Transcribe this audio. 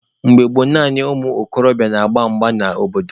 Mgbe gboo, naanị ụmụ okorobịa na-agba mgba n'obodo.